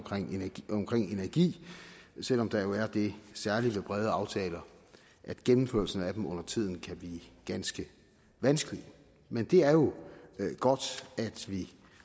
energi selv om der er det særlige ved brede aftaler at gennemførelsen af dem undertiden kan blive ganske vanskelig men det er jo godt at vi